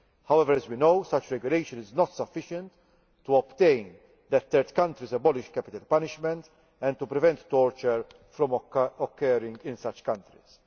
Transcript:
based. However, as we know, such regulation is not sufficient to ensure that third countries abolish capital punishment and to prevent torture from occurring in such countries.